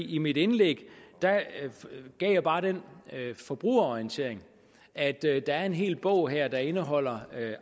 i mit indlæg gav jeg bare den forbrugerorientering at der er en hel bog her der indeholder